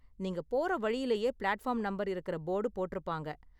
நீங்க போற வழிலயே பிளாட்ஃபார்ம் நம்பர் இருக்கற போர்டு போட்டுருப்பாங்க.